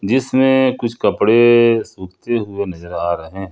जिसमें कुछ कपड़े सुखते नजर आ रहे--